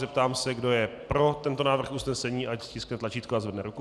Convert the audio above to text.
Zeptám se, kdo je pro tento návrh usnesení, ať stiskne tlačítko a zvedne ruku.